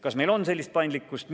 Kas meil on sellist paindlikkust?